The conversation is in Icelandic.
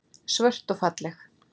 Svört og falleg.